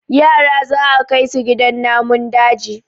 yara za a Kai su gidan namun daji